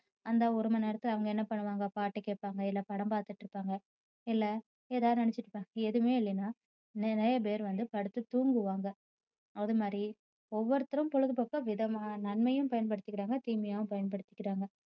அந்த ஒரு மணி நேரத்துல அவங்க என்ன பண்ணுவாங்க பாட்டு கேப்பாங்க இல்ல படம் பார்த்துட்டு இருப்பாங்க இல்ல ஏதாவது நினைச்சுட்டு இருப்பாங்~ எதுவுமே இல்லன்னா நிறைய பேர் வந்து படுத்து தூங்குவாங்க. அதுமாதிரி ஒவ்வொருத்தரும் பொழுதுபோக்க விதமா~ நன்மையாவும் பயன்படுத்திக்குறாங்க தீமையாவும் பயன்படுத்திக்குறாங்க.